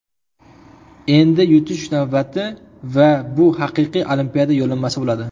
Endi yutish navbati... Va bu haqiqiy Olimpiada yo‘llanmasi bo‘ladi.